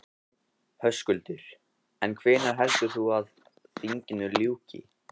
Höskuldur: En hvenær heldur þú að, að þinginu ljúki?